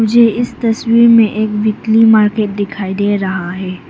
मुझे इस तस्वीर में एक वीकली मार्केट दिखाई दे रहा है।